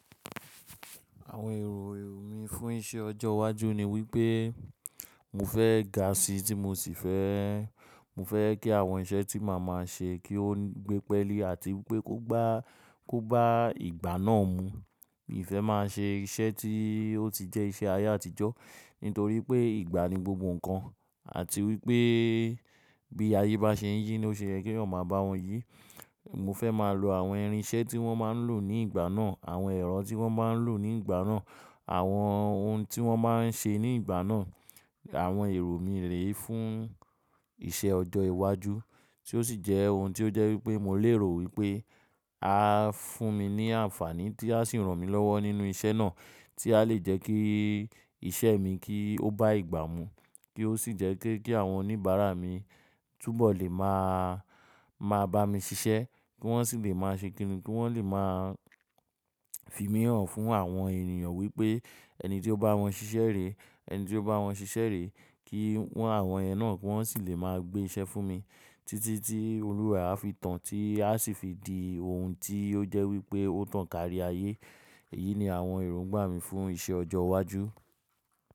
Àwọn èrò mi fún iṣẹ́ ọjọ́ iwájú ni wípé mo fẹ́ ga si tí mo sì fẹ́, mo fẹ́ kí àwọn iṣẹ́ tí màá máa ṣe kí ó gbé pẹ́élí àti wípé kó bá, kó bá ìgbà náà mu. Mi ò fẹ́ máa ṣe iṣẹ́ tí ó ti jẹ́ iṣẹ́ ayé àtijọ́, nítorí pé ìgbà ni gbogbo nǹkan àti wípé bí ayé bá ṣe ń yí ló ṣe yẹ, kí èèyàn máa bá wọn yí. Mo fẹ́ máa lo àwọn irinṣẹ́ tí wọ́n máa ń lò ní ìgbà náà, àwọn ẹ̀rọ tí wọ́n máa ń lò ní ìgbà náà, àwọn ohun tí wọ́n máa ń ṣe ní ìgbà náà. Àwọn èrò mi rè fún iṣẹ́ ọjọ́ iwájú tí ó sì jẹ́ ohun tí ó jẹ́ wípé mo lérò wípé á fún mi ní àǹfàní tí a sì ran mí lọ́wọ́ nínú iṣẹ́ náà tí a lè jẹ́ kí iṣẹ́ mi kí ó bá ìgbà mu, kí ó sì jẹ́ pé kí àwọn oníbàárà mi túbọ̀ lè máa, máa bá mi ṣiṣẹ́, kí wọ́n sì lè máa ṣe kìn-ín, kí wọ́n lè máa fi mí hàn fún àwọn ènìyàn wípé ẹni tí ó bá wọn ṣiṣẹ́ rè, ẹni tí ó bá wọn ṣiṣẹ́ rè kí wọ́n, àwọn yẹn náà kí wọ́n sì lè máa gbé iṣẹ́ fún mi títí tí Olúwa á fi tán tí a sì fi di ohun tí ó jẹ́ wípé ó tàn kárí ayé. Èyí ni àwọn èròǹgbà mi fún iṣẹ́ ọjọ́ iwájú.